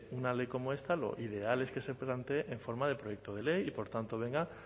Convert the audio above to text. una ley como esta lo ideal es que se plantee en forma de proyecto de ley y por tanto venga